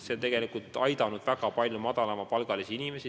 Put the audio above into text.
See on tegelikult aidanud väga paljusid madalama palgaga inimesi.